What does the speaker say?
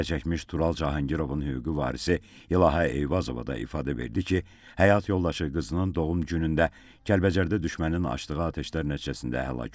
Zərərçəkmiş Tural Cahangirovun hüquqi varisi İlahə Eyvazova da ifadə verdi ki, həyat yoldaşı qızının doğum günündə Kəlbəcərdə düşmənin açdığı atəşlər nəticəsində həlak olub.